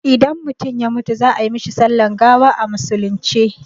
Idan mutum ya mutu za ai mishi sallan gawa a musulunce